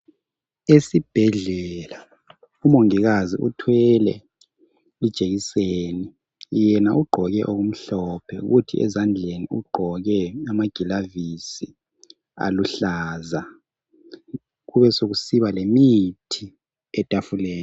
Esibhedlela umongikazi uthwele ijekiseni. Yena ugqoke okumhlophe kuthi ezandleni ugqoke amagilavisi aluhlaza. Kube sokusiba lemithi etafuleni.